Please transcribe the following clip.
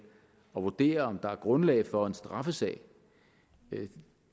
og vurderer om der er grundlag for en straffesag